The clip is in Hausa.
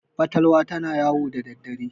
fatalwa tana yawo da daddare